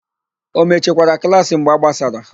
O mechikwara klaasị mgbe a gbasara?